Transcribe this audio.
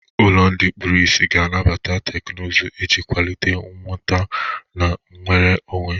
Ụlọ ndị kpuru ìsì ga-anabata teknụzụ iji kwalite nnweta na nnwere onwe.